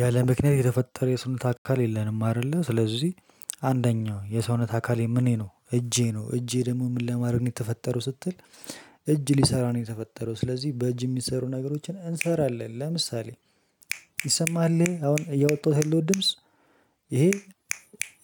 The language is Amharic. ያለ ምክንያት የተፈጠረ የሰውነት አካል የለንም አይደለ ስለዚህ አንደኛው የሰውነት አካል ምኔ ነው እጄ ነው እጄ ደግሞ ምን ለማድረግ ነው የተፈጠረው ስትል እ እጅ ሊሰራ ነው የተፈጠረው ስለዚህ በእጅ የሚሰሩ ነገሮችን እንሰራለን። ለምሳሌ ይሰማል ይሄ አሁን እያወጣሁት ያለሁት ድምጽ። ይሄ